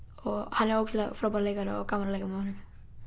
hann er ógeðslega frábær leikari og gaman að leika með honum